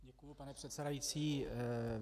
Děkuji, pane předsedající.